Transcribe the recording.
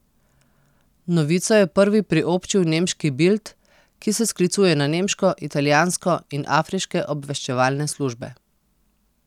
Novico je prvi priobčil nemški Bild, ki se sklicuje na nemško, italijansko in afriške obveščevalne službe.